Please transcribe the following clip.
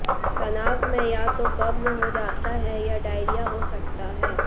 तनाव में या तो कब्ज़ हो जाता है या डायरिया हो सकता है